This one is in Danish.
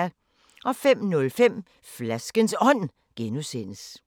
05:05: Flaskens Ånd (G)